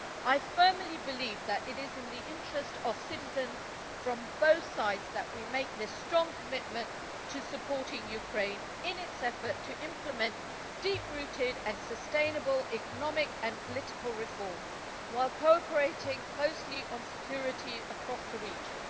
I firmly believe that it is the interests of citizens from both sides that we make this strong commitment to supporting Ukraine in its effort to implement deep rooted and sustainable economic and political reform while cooperating closely on security across the region.